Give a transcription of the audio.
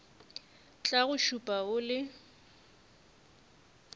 tla go šupa o le